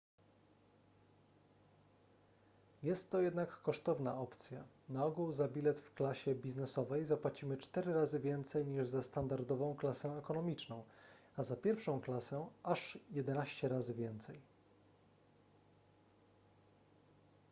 jest to jednak kosztowna opcja na ogół za bilet w klasie biznesowej zapłacimy cztery razy więcej niż za standardową klasę ekonomiczną a za pierwszą klasę aż jedenaście razy więcej